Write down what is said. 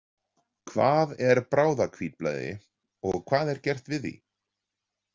Hvað er bráðahvítblæði og hvað er gert við því?